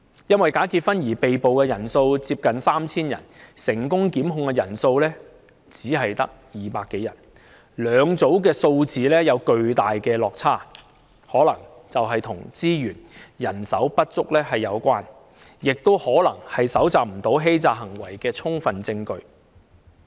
因假結婚而被捕的人數接近 3,000 人，但成功檢控的人數只有200多人，兩組數字有巨大落差，這可能是與資源和人手不足有關，亦可能是由於無法搜集到相關欺詐行為的充分證據。